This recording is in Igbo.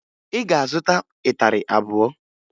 Ị ga-azụta ịtarị abụọ!